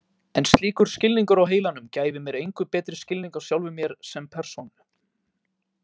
En slíkur skilningur á heilanum gæfi mér engu betri skilning á sjálfum mér sem persónu.